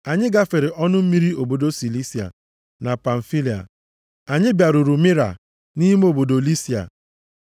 Anyị gafere ọnụ mmiri obodo Silisia na Pamfilia. Anyị bịaruru Mira nʼime obodo Lisia.